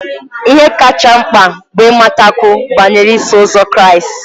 Ihe kacha mkpa bụ ịmatakwu banyere Iso Ụzọ Kraịst.